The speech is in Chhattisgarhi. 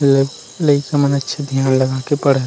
ले लइका मन अच्छा ध्यान लगा के पढ़त--